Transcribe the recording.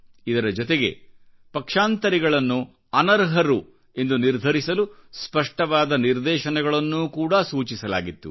ಇದರ ಜೊತೆಗೆ ಪಕ್ಷಾಂತರಿಗಳನ್ನು ಅನರ್ಹರು ಎಂದು ನಿರ್ಧರಿಸಲು ಸ್ಪಷ್ಟವಾದ ನಿರ್ದೇಶನಗಳನ್ನೂ ಕೂಡಾಸೂಚಿಸಲಾಗಿತ್ತು